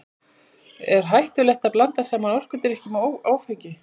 Er hættulegt að blanda saman orkudrykkjum og áfengi?